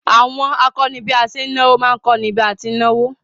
Àwọn akọ́ni bí a ṣe ń náwó má ń kọ́ni bí a ti ń náwó